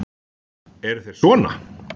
Eru þeir sona?